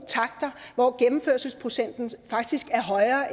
takter hvor gennemførelsesprocenten faktisk er højere